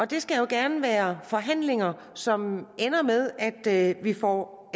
det skal jo gerne være forhandlinger som ender med at vi får